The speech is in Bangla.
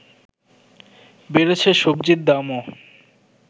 বেড়েছে সবজির দামও